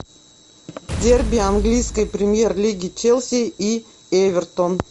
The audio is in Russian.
дерби английской премьер лиги челси и эвертон